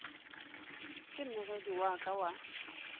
ke mmegedi wa ka wa